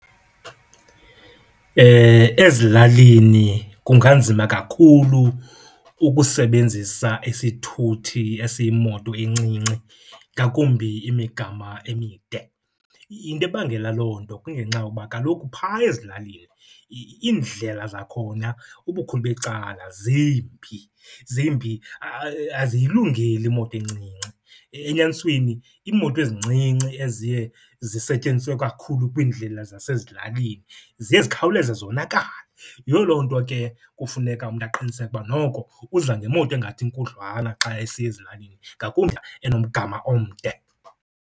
Ezilalini kunganzima kakhulu ukusebenzisa isithuthi esiyimoto encinci ngakumbi imigama emide. Into ebangela loo nto kungenxa yokuba kaloku phaya ezilalini iindlela zakhona ubukhulu becala zimbi, zimbi aziyilungeli imoto encinci. Enyanisweni iimoto ezincinci eziye zisetyenziswe kakhulu kwiindlela zasezilalini ziye zikhawuleze zonakale. Yiyo loo nto ke kufuneka umntu aqiniseke uba noko uza ngemoto engathi inkudlwana xa esiya ezilalini, ngakumbi enomgama omde.